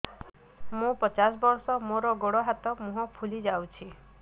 ମୁ ପଚାଶ ବର୍ଷ ମୋର ଗୋଡ ହାତ ମୁହଁ ଫୁଲି ଯାଉଛି